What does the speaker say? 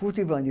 Furtwängler.